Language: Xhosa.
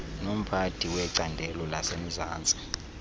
nomphathi wecandelo lasemzantsi